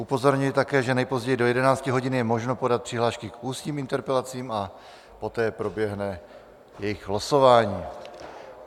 Upozorňuji také, že nejpozději do 11 hodin je možno podat přihlášky k ústním interpelacím a poté proběhne jejich losování.